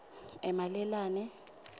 emalelane